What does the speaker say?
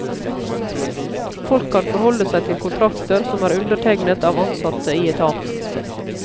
Folk kan forholde seg til kontrakter som er undertegnet av ansatte i etaten.